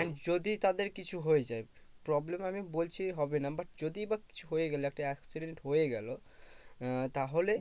এক যদি তাদের কিছু হয়ে যায় problem আমি বলছি হবে না but যদি but কিছু হয়ে গেলো একটা accident হয়ে গেলো আহ তাহলে